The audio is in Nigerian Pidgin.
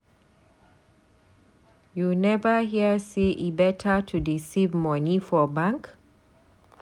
You never hear sey e beta to dey save moni for bank?